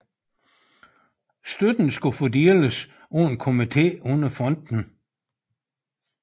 Støtten skulle fordeles af en komité under fonden